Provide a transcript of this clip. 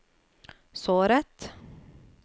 såret